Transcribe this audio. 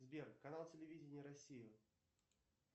сбер канал телевидения россия